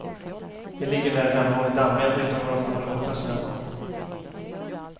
De ligger där hemma och är dammiga, utom några få låtar som jag har sålt.